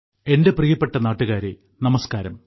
എന്റെ പ്രിയപ്പെട്ട നാട്ടുകാരെ നമസ്കാരം